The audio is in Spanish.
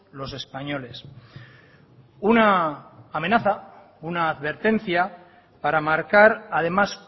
los españoles una amenaza una advertencia para marcar además